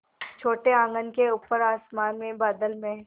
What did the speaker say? छोटे आँगन के ऊपर आसमान में बादल में